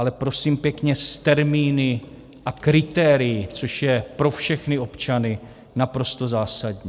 Ale prosím pěkně s termíny a kritérii, což je pro všechny občany naprosto zásadní.